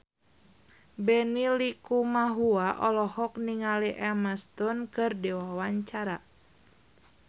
Benny Likumahua olohok ningali Emma Stone keur diwawancara